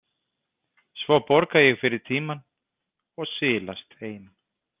Svo borga ég fyrir tímann og silast heim.